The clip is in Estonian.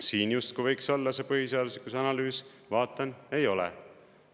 Siin justkui võiks olla see põhiseaduslikkuse analüüs – vaatan, ei ole.